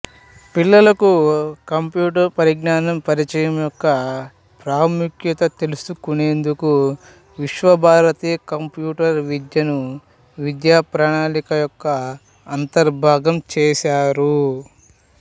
పిల్లలకు కంప్యూటర్ జ్ఞానం పరిచయం యొక్క ప్రాముఖ్యత తెలుసుకునేందుకు విశ్వభారతి కంప్యూటర్ విద్యను విద్యాప్రణాళిక యొక్క అంతర్భాగం చేశారు